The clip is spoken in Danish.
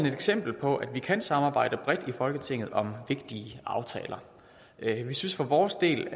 et eksempel på at vi kan samarbejde bredt i folketinget om vigtige aftaler vi synes for vores del